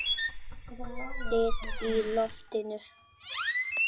Þyt í loftinu?